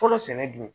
Fɔlɔ sɛnɛ dun